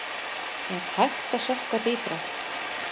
Er hægt að sökkva dýpra?